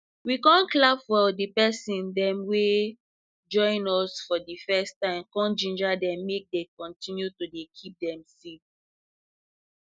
we com clap for de people dem wey join us for de first time com ginger dem make dey continue to dey keep dem seed